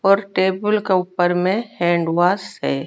और टेबल के ऊपर में हैंड वॉस है।